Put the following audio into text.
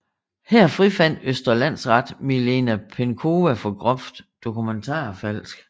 Her frifandt Østre Landsret Milena Penkowa for groft dokumentfalsk